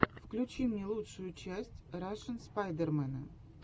включи мне лучшую часть рашн спайдермена